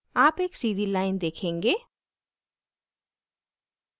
आप एक सीधी line देखेंगे